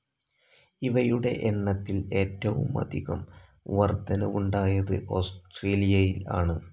ഇവയുടെ എണ്ണത്തിൽ ഏറ്റവുമധികം വർദ്ധനവുണ്ടായത് ഓസ്ട്രേലിയയിൽ ആണ്.